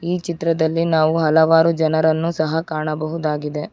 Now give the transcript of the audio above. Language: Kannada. ಈ ಚಿತ್ರದಲ್ಲಿ ನಾವು ಹಲವಾರು ಜನರನ್ನು ಸಹ ಕಾಣಬಹುದು.